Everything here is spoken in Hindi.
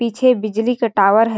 पीछे बिजली का टावर है ।